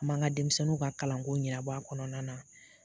A b'an ka denmisɛnninw na kalanko ɲɛnabɔ a kɔnɔna na.